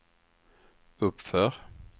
uppför